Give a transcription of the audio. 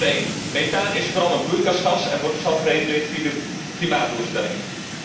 Nummer één methaan is vooral een broeikasgas en wordt dus al gereguleerd via de klimaatdoelstellingen.